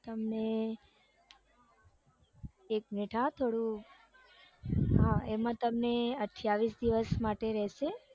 તમને એક મિનિટ હો થોડું હા એમાં તમને અઠયાવીસ દિવસ માટે રેસે